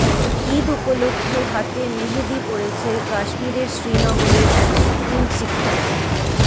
ঈদ উপলক্ষে হাতে মেহেদি পরেছে কাশ্মিরের শ্রীনগরের এক স্কুলশিক্ষার্থী